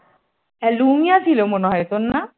Lumia ছিল মনে হয় তোর না?